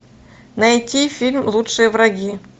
найти фильм лучшие враги